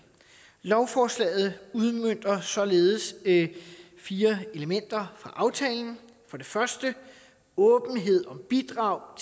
lovforslaget udmønter således fire elementer fra aftalen for det første åbenhed om bidrag